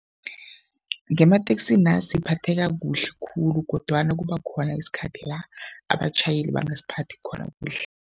Ngemateksina siphatheka kuhle khulu kodwana kuba khona isikhathi la abatjhayeli bangasiphathi khona kuhle.